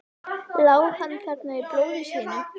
Lá hann þarna í blóði sínu?